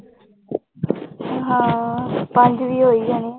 ਹਾਂ ਪੰਜ ਵੀ ਹੋ ਹੀ ਜਾਣੇ ਆਂ।